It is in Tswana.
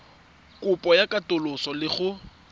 kopo ya katoloso le go